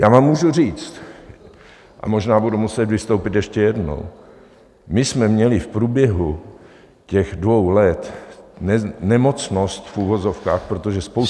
Já vám můžu říct, a možná budu muset vystoupit ještě jednou, my jsme měli v průběhu těch dvou let nemocnost v uvozovkách, protože spousta lidí -